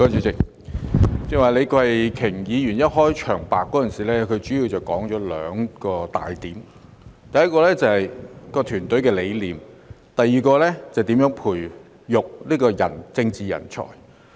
主席，李慧琼議員剛才在開場白中說出兩大重點：第一是團隊的理念，第二是如何培育政治人才。